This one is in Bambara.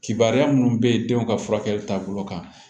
Kibaruya minnu bɛ yen denw ka furakɛli taabolo kan